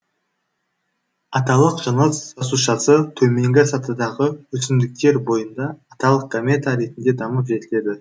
аталық жыныс жасушасы төменгі сатыдағы өсімдіктер бойында аталық гамета ретінде дамып жетіледі